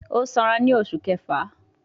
Ó Sara ni oṣù kẹfà